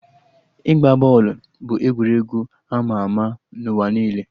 Ịgba bọọlụ bụ egwuregwu ama ama na ụwa niile